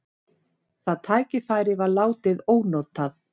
Það tækifæri var látið ónotað.